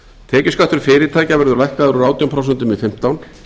tekjuskattur fyrirtækja verður lækkaður úr átján prósent í fimmtán